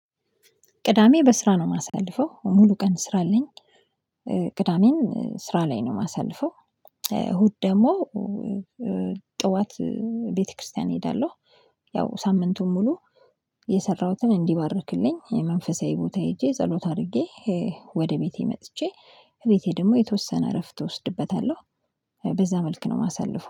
ቅዳሜ በስራ ነው ማሳልፈው። ሙሉ ቀን ስራ አለኝ ቅዳሜን ስራ ላይ ነው ማሳልፈው። እሁድ ደግሞ ጠዋት ቤተክርስቲያን እሄዳለሁ። ያው ሳምንቱን ሙሉ የሰራሁትን እንዲባርክልኝ መንፈሳዊ ቦታ ሄጄ ጸሎት አድርጌ ወደ ቤቴ መጥቼ ቤቴ ደግሞ የተወሰነ እረፍት እወስድበታለሁ። በዛ መልክ ነው ማሳልፈው